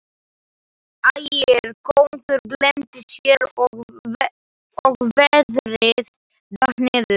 Ægir kóngur gleymdi sér og veðrið datt niður.